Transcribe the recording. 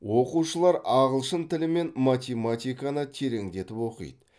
оқушылар ағылшын тілі мен математиканы тереңдетіп оқиды